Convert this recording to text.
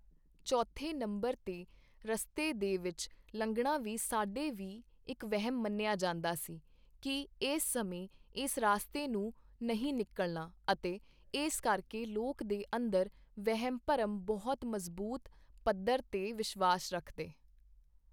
ਚੌਥੇ ਨੰਬਰ 'ਤੇ ਰਸਤੇ ਦੇ ਵਿੱਚ ਲੰਘਣਾ ਵੀ ਸਾਡੇ ਵੀ ਇੱਕ ਵਹਿਮ ਮੰਨਿਆ ਜਾਂਦਾ ਸੀ ਕਿ ਇਸ ਸਮੇਂ ਇਸ ਰਸਤੇ ਨੂੰ ਨਹੀਂ ਨਿਕਲਣਾ ਅਤੇ ਇਸ ਕਰਕੇ ਲੋਕ ਦੇ ਅੰਦਰ ਵਹਿਮ ਭਰਮ ਬਹੁਤ ਮਜ਼ਬੂਤ ਪੱਧਰ 'ਤੇ ਵਿਸ਼ਵਾਸ ਰੱਖਦੇ